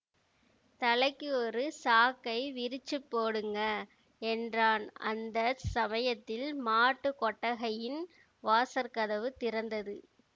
தலைக்கு ஒரு சாக்கை விரிச்சுப் போடுங்க என்றான் அந்த சமயத்தில் மாட்டுக் கொட்டகையின் வாசற் கதவு திறந்தது